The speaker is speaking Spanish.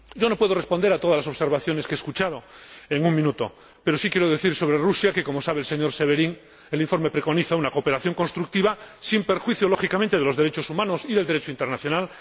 No puedo responder en un minuto a todas las observaciones que he escuchado, pero sí quiero decir, sobre Rusia, que, como sabe el señor Severin, el informe preconiza una cooperación constructiva, sin perjuicio, lógicamente, de los derechos humanos y del Derecho internacional